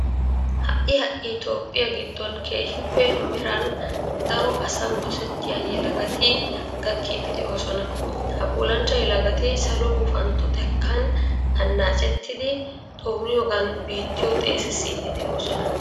Ha"i ha"i toophphiya giddon keehippe meran daro asan dosettiya yelagati gakkiiddi de'oosona. Ha puulanchcha yelagati salo gufantto xekkan annaacettidi xooniyogan biittiyo xeesissiiddi de'oosona.